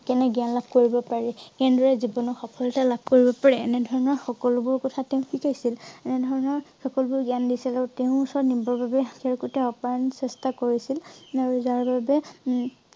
কেনে জ্ঞান লাভ কৰিব পাৰি কেনেদৰে জীৱনত সফলতা লাভ কৰিব পাৰি এনে ধৰণৰ সকলোবোৰ কথা তেওঁ শিকাইছিল। এনে ধৰণৰ সকলোবোৰ জ্ঞান দিছিল আৰু তেওঁৰ ওচৰত নিবৰ বাবে তেওঁ গোটেই অপায়ন চেষ্টা কৰিছিল। আৰু যাৰ বাবে উম